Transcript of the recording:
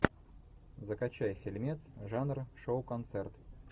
закачай фильмец жанра шоу концерт